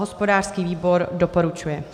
Hospodářský výbor doporučuje.